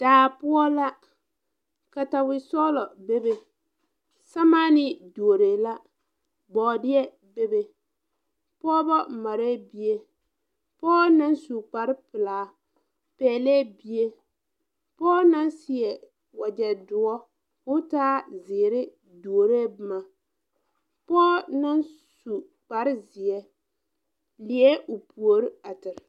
Daa poɔ la katawi sɔglɔ bebe sɛmaanee duoree la bɔɔdeɛ bebe pɔɔbɔ mareɛɛ bie pɔɔ naŋ su kparepilaa pɛglɛɛ bie pɔɔ naŋ seɛ wagyɛ soɔ koo taa zeere duoree bomma pɔɔ naŋ su kpare zeɛ liɛɛ o puore a zeŋ.